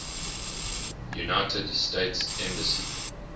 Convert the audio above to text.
united states embassy